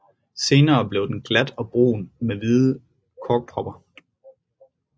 Senere bliver den glat og brun med hvide korkporer